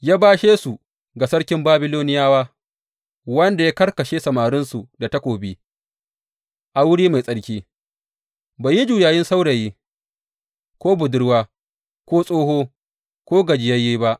Ya bashe su ga sarkin Babiloniyawa wanda ya karkashe samarinsu da takobi a wuri mai tsarki, bai yi juyayin saurayi, ko budurwa, ko tsoho, ko gajiyayye ba.